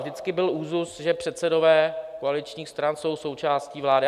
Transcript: Vždycky byl úzus, že předsedové koaličních stran jsou součástí vlády.